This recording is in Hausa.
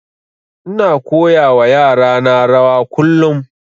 Ina koya wa yara na rawa kullum